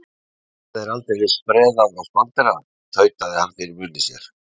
Það er aldeilis spreðað og spanderað, tautaði hann fyrir munni sér.